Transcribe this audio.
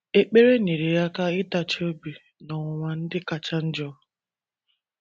Ekpere nyeere ya aka ịtachi obi n’ọnwụnwa ndị kacha njọ.